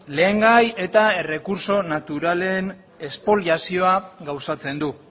lehengai eta errekurtso naturalen espoliazioa gauzatzen du